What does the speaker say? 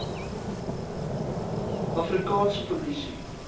afri kaanse polisie